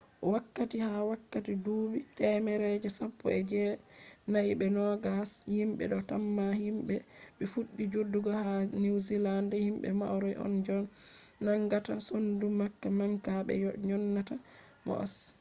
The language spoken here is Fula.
wakkati ha wakkati duubi temere je sappo e je nai be nogas himbe do tamma himbe je fuddi jodugo ha new zealand himbe maori on je nangata sondu manga manga be dyonata moas